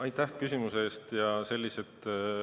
Aitäh küsimuse eest!